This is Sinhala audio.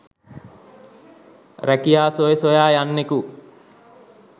රැකියා සොය සොයා යන්නකු